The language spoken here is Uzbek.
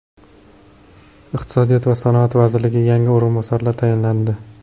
Iqtisodiyot va sanoat vaziriga yangi o‘rinbosarlar tayinlandi.